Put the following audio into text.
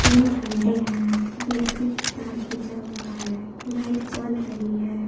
झंडे हैं बिजली की तार खींचा हुआ है लाइट जल रही है।